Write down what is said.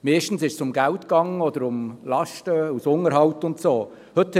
Meistens ging es um Geld oder Lasten aus dem Unterhalt oder dergleichen.